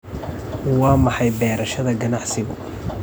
Waa maxay beerashada ganacsigu?